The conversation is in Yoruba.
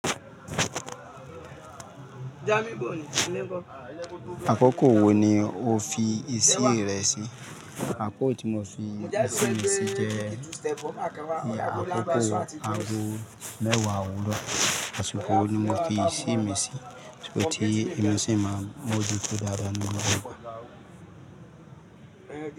Àkókò wo ni o fi ìsí rẹ sí? Àkókò tí mo fi ìsínmi sí jẹ́ àkókò aago mẹ́wàá òwúrọ̀, àsìkò yi ni mo fi ìsí mi sí, ṣùgbọ́n tí èmi sì máa mú ojúto dáadáa ní gbogbo ìgbà.